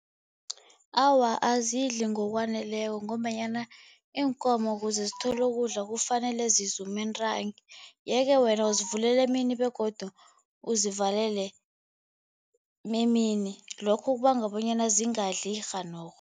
Awa, azidli ngokwaneleko ngombanyana iinkomo kuze zithole ukudla kufanele zizume ntangi yeke wena uzivulela emini begodu uzivalele nemini lokho kubanga bonyana zingadli rhanorho.